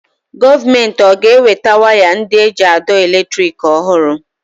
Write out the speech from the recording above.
Gọọmenti ọ ga-eweta waya ndị eji àdọ́ elétrị̀k ọhụrụ?